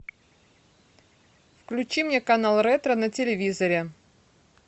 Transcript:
включи мне канал ретро на телевизоре